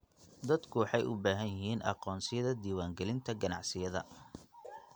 Dadku waxay u baahan yihiin aqoonsiyada diiwaangelinta ganacsiyada.